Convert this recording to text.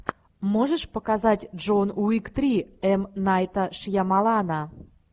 можешь показать джон уик три м найта шьямалана